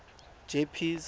jeppes